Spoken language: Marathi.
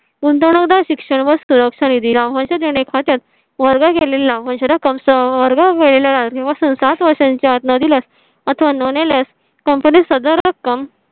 कोणता मुद्दा शिक्षण व सुरक्षा निधी ला मदत देणे खात्यात वर्ग केलेला म्हणजे रक्कम सं वर्गा वे लागले. सात वर्षांच्या आत न दिल्यास अथवा न नेल्यास company सदर रक्कम